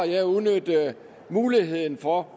jeg udnyttet muligheden for